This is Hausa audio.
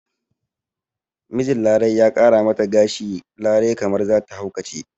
Mijin larai ya ƙara mata gashi larai kamar zata haukace